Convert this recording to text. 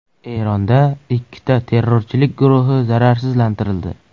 Eronda ikkita terrorchilik guruhi zararsizlantirildi.